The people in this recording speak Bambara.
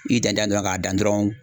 I dan dan ye dɔrɔn ka dan dɔrɔn